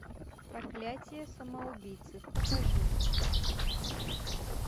проклятие самоубийцы покажи